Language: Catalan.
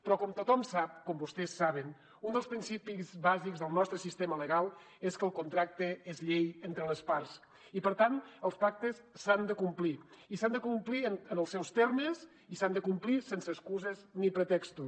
però com tothom sap com vostès saben un dels principis bàsics del nostre sistema legal és que el contracte és llei entre les parts i per tant els pactes s’han de complir i s’han de complir en els seus termes i s’han de complir sense excuses ni pretextos